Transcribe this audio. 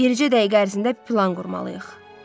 Bircə dəqiqə ərzində plan qurmalıyıq.